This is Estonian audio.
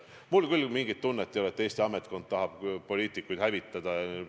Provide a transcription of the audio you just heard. Mul küll ei ole mingit tunnet, et Eesti ametkond tahab poliitikuid hävitada.